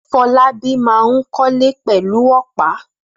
Fọlábí máa ń kọ́lé pẹ̀lú ọ̀pá.